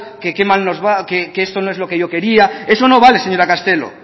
nos va que esto no es lo que quería eso no vale señora castelo